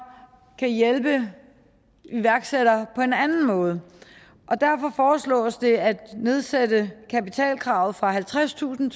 kan hjælpe iværksættere på en anden måde derfor foreslås det at nedsætte kapitalkravet fra halvtredstusind